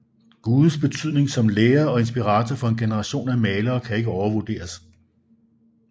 Gudes betydning som lærer og inspirator for en generation af malere kan ikke overvurderes